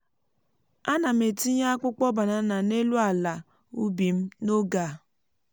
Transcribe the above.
ana m etinye um akpụkpọ banana n’elu ala um ubi m n’oge a.